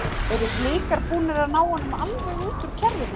Eru Blikar búnir að ná honum alveg út úr kerfinu?